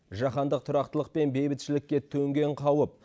жаһандық тұрақтылық пен бейбітшілікке төнген қауіп